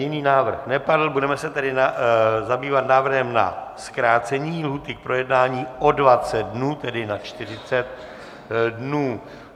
Jiný návrh nepadl, budeme se tedy zabývat návrhem na zkrácení lhůty k projednání o 20 dnů, tedy na 40 dnů.